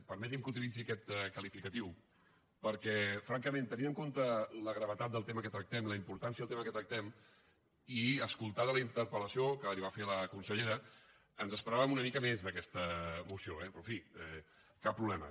permeti’m que utilitzi aquest qualificatiu perquè francament tenint en compte la gravetat del tema que tractem la importància del tema que tractem i escoltada la interpel·lació que li va fer a la consellera ens esperàvem una mica més d’aquesta moció eh però en fi cap problema